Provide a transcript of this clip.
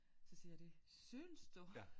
Så siger de synes du